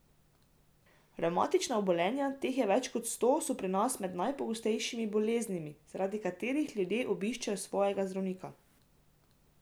Revmatična obolenja, teh je več kot sto, so pri nas med najpogostejšimi boleznimi, zaradi katerih ljudje obiščejo svojega zdravnika.